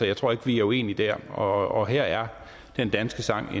jeg tror ikke vi er uenige dér og her er den danske sang